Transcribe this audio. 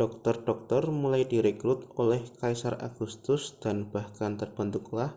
dokter-dokter mulai direkrut oleh kaisar agustus dan bahkan terbentuklah